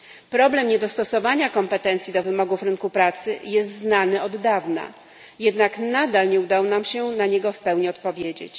Problem niedostosowania kompetencji do wymogów rynku pracy jest znany od dawna, jednak nadal nie udało nam się na niego w pełni odpowiedzieć.